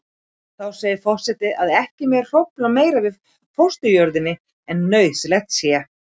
Þá segir forseti að ekki megi hrófla meira við fósturjörðinni en nauðsynlegt sé.